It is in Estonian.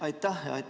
Aitäh!